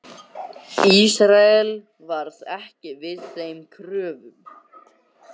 Ísrael varð ekki við þeim kröfum.